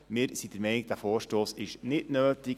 Wir sind der Meinung, dieser Vorstoss ist nicht nötig.